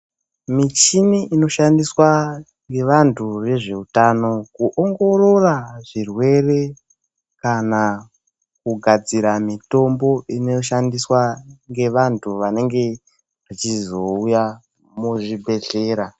Michini inoshandiswa ngevantu vezveutano kuongorora zvirwere kana kugadzira mitombo inoshandiswa ngevantu vanenge vachizouya muzvibhehlera.